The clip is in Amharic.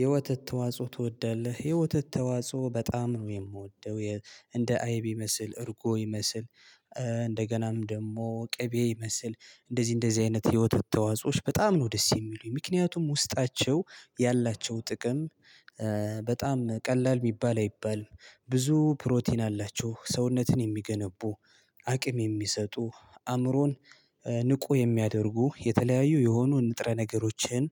የወተት ተዋጽኦ ትወዳለህ? የወተት ተዋጽኦ በጣም ነው የምወደው እንደ አይብ ይመስል እርጎ ይመስል እንደገናም ደግሞ ቅቤ ይመስል እንደዚህ እንደዚህ አይነት ህይወት ተዋጾዎች በጣም ነው ደስ የሚሉኝ ምክንያቱም ውስጣቸው ያላቸው ጥቅም። በጣም ቀላል የሚባል አይባልም ብዙ ፕሮቲን አላቸው ሰውነትን የሚገነቡ አቅም የሚሰጡ አእምሮን ንቁ የሚያደርጉ የተለያዩ የሆኑ ንጥረ ነገሮችን